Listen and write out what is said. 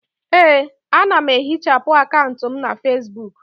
Ee, ana m ehichapụ akaụntụ m na Fesbuk.